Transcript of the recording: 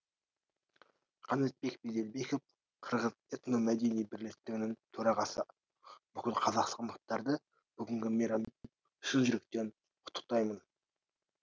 қанатбек беделбеков қырғыз этномәдени бірлестігінің төрағасы бүкіл қазақстандықтарды бүгінгі мейраммен шын жүректен құттықтаймын